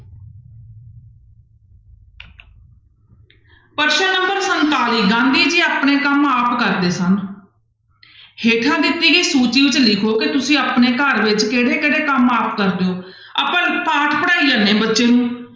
ਪ੍ਰਸ਼ਨ number ਸੰਤਾਲੀ ਗਾਂਧੀ ਜੀ ਆਪਣੇ ਕੰਮ ਆਪ ਕਰਦੇ ਸਨ ਹੇਠਾਂ ਦਿੱਤੀ ਗਈ ਸੂਚੀ ਵਿੱਚ ਲਿਖੋ ਕਿ ਤੁਸੀਂ ਆਪਣੇ ਘਰ ਵਿੱਚ ਕਿਹੜੇ ਕਿਹੜੇ ਕੰਮ ਆਪ ਕਰਦੇ ਹੋ ਆਪਾਂ ਇੱਕ ਪਾਠ ਪੜ੍ਹਾਈ ਜਾਂਦੇ ਹਾਂ ਬੱਚੇ ਨੂੂੰ,